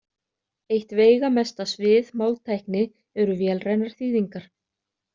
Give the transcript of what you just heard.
Eitt veigamesta svið máltækni eru vélrænar þýðingar.